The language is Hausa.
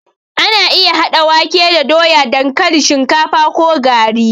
Ana iya haɗa wake da doya, dankalin, shinkafa ko gari.